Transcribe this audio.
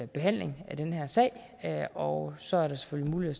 behandling af den her sag og så er der selvfølgelig mulighed